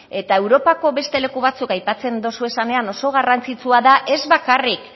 eta europako beste leku batzuk aipatzen duzu esanean oso garrantzitsua da ez bakarrik